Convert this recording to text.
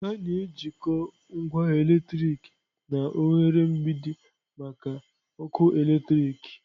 A na-ejikọta ngwa eletriki na oghere mgbidi maka ọkụ eletrik